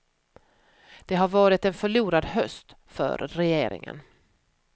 Det har varit en förlorad höst för regeringen.